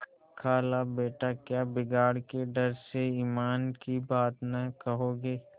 खालाबेटा क्या बिगाड़ के डर से ईमान की बात न कहोगे